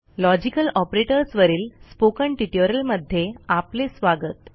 logical operators वरील spoken ट्युटोरियलमध्ये आपले स्वागत